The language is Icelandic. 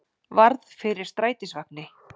Varð fyrir strætisvagni